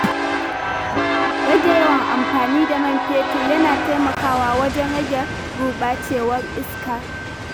Rage yawan amfani da man fetur yana taimakawa wajen rage gurɓacewar iska.